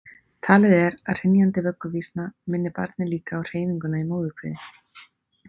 talið er að hrynjandi vögguvísna minni barnið líka á hreyfinguna í móðurkviði